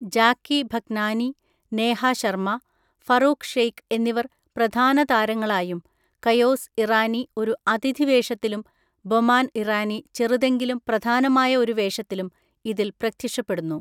ജാക്കി ഭഗ്നാനി, നേഹ ശർമ, ഫറൂഖ് ഷെയ്ഖ് എന്നിവർ പ്രധാനതാരങ്ങളായും കയോസ് ഇറാനി ഒരു അതിഥിവേഷത്തിലും ബൊമാൻ ഇറാനി ചെറുതെങ്കിലും പ്രധാനമായ ഒരു വേഷത്തിലും ഇതിൽ പ്രത്യക്ഷപ്പെടുന്നു.